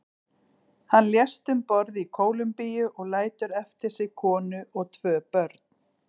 Hann lést um borð í Kólumbíu og lætur eftir sig konu og tvo börn.